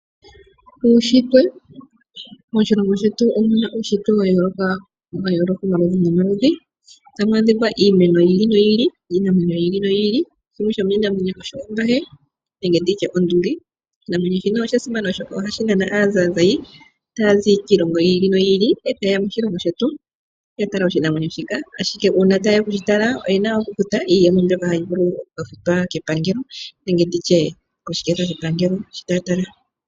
Moshilongo shetu omuna uunshitwe wayooloka . Otamu adhika iimeno yili noyili niinamwenyo yili noyili. Shimwe shomiimamwenyo osho onduli. Oshinamwenyo shika osha simana molwaashoka ohadhi nana aazayizayi , taya zi kiilongo yiili noyili . Ohaye ya moshilongo shetu yatale oshinamwenyo shoka, ashike uuna tayeya okutala oshinamwenyo shika ,oyena okukutha iiyemo opo yafute epangelo nenge oshiketha shayo.